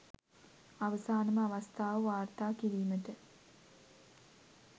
අවසානම අවස්‌ථාව වාර්තා කිරීමට